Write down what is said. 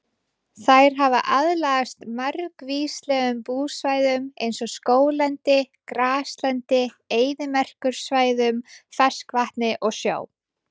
Þær hafa aðlagast margvíslegum búsvæðum eins og skóglendi, graslendi, eyðimerkursvæðum, ferskvatni og sjó.